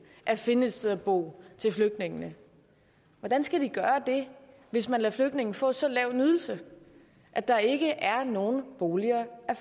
at finde et sted at bo til flygtningene hvordan skal de gøre det hvis man lader flygtninge få så lav en ydelse at der ikke er nogen boliger at